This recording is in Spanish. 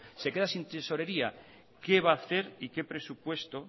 se queda sin tesorería qué va a hacer y qué presupuesto